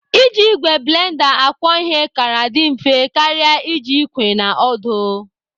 Iji ìgwè blenda akwọ ihe kara dị mfe karịa iji ikwe na ọdụ.